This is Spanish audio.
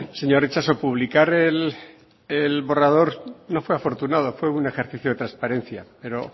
señor itxaso publicar el borrador no fue afortunado fue un ejercicio de transparencia pero